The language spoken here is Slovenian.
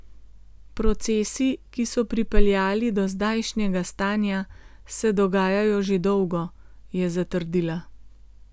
Procesi, ki so pripeljali do zdajšnjega stanja, se dogajajo že dolgo, je zatrdila.